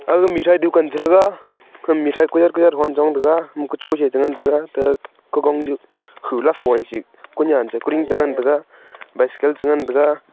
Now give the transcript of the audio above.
aga mithai dukan chitega mithai kiyat kiyat hon chong tega ama kuchu chi ngan tega aga kukon chu huyat kon dih chi ngan tega bycycle chu ngan tega.